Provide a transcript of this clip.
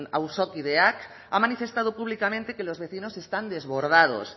auzokideak ha manifestado públicamente que los vecinos están desbordados